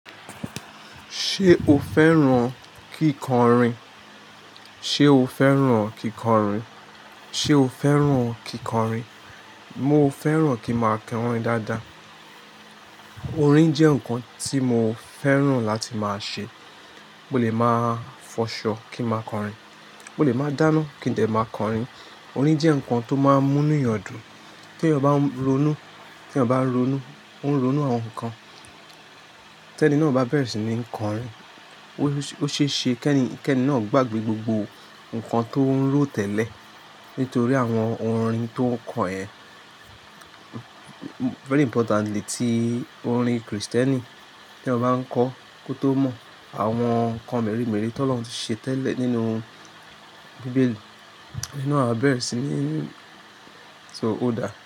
Ṣé o fẹ́ràn kíkọrin? Ṣe o fẹ́ràn kíkọrin? Ṣe o fẹ́ràn kíkọrin? Mo fẹ́ràn kí n máa kọrin dáadáa. Orin jẹ́ nǹkan tí mo fẹ́ràn láti máa ṣe. Ó lè máa fọṣọ kí n máa kọrin, mó lè máa dáná kí n dè máa kọrin. Orin jẹ́ nǹkan tó máa ń mú inú yọ̀dù. Tí eyan ba ronú, kí ẹba rónú, ó ń ronú àwọn nǹkankan. Tẹ́ni náà bá bẹ̀rẹ̀ sí ní kọrin, ó ṣeéṣe pé kẹ́ni náà gbàgbé gbogbo nǹkan tó ń ro tẹ́lẹ̀ nítorí àwọn orin tó ń kọ ẹ̀. Very importantly, tí orin Kristẹni tí eyan bá ń kọ kó tó mọ àwọn nǹkan meré mere ti ọ́lohùn ti ṣe tẹ́lẹ̀ nínú bíbélì, iyen a bẹ̀rẹ̀ sí ní so o dá.